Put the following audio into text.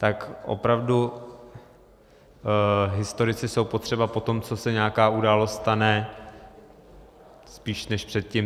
Tak opravdu, historici jsou potřeba po tom, co se nějaká událost stane, spíš než předtím.